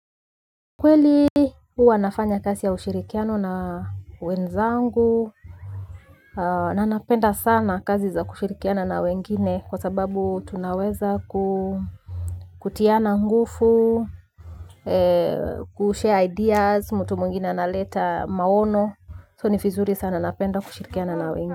Kweli huwa nafanya kasi ya ushirikiano na wenzangu. Nanapenda sana kazi za kushirikiana na wengine kwa sababu tunaweza kutiana ngufu Kushare ideas mtu mwingine analeta maono, so ni fizuri sana napenda kushirikiana na wengine.